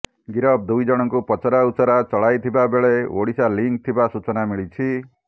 ଗିରଫ ଦୁଇଜଣଙ୍କୁ ପଚରାଉଚରା ଚଳାଇଥିବାବେଳେ ଓଡ଼ିଶା ଲିଙ୍କ୍ ଥିବା ସୂଚନା ମିଳିଛି